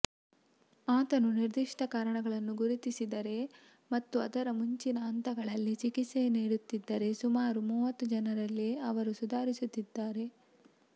ಆತನು ನಿರ್ದಿಷ್ಟ ಕಾರಣವನ್ನು ಗುರುತಿಸಿದರೆ ಮತ್ತು ಅದರ ಮುಂಚಿನ ಹಂತಗಳಲ್ಲಿ ಚಿಕಿತ್ಸೆ ನೀಡುತ್ತಿದ್ದರೆ ಸುಮಾರು ಮೂವತ್ತು ಜನರಲ್ಲಿ ಅವರು ಸುಧಾರಿಸುತ್ತಾರೆ